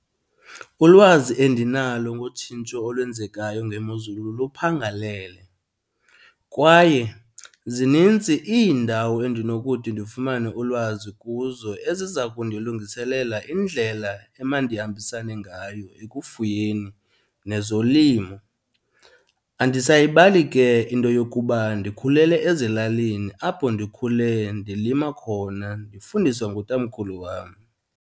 Ulwazi endinalo ngotshintsho olwenzekayo ngemozulu luphangalele kwaye zinintsi iindawo endinokuthi ndifumane ulwazi kuzo eziza kundilungiselela indlela emandihambisane ngayo ekufuyeni nezolimo. Andisayibali ke into yokuba ndikhulele ezilalini apho ndikhule, ndilima khona ndifundiswa ngutamkhulu wam.